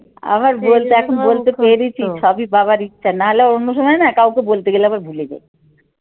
আমার বলতে বলতে পেরেছি সবই বাবার ইচ্ছা নাহলে অন্য সময় না কাউকে বলতে গেলে আবার ভুলে যাই।